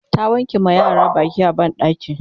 ta wanke ma yaran Baki a banɗaki